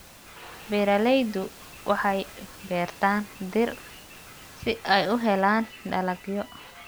Beeraleydu waxay beertaan dhir si ay u helaan dalagyo.